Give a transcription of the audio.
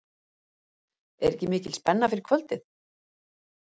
Er ekki mikil spenna fyrir kvöldið?